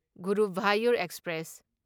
Guruvayur express